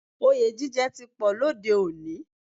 Òye jíjẹ ti pọ̀ lóde òní